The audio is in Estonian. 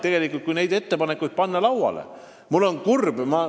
Praegu on õige aeg need ettepanekud lauale panna.